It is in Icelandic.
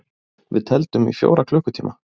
Við tefldum í fjóra klukkutíma!